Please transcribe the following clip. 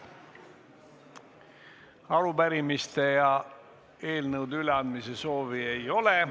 Arupärimiste ja eelnõude üleandmise soovi ei ole.